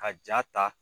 Ka jaa ta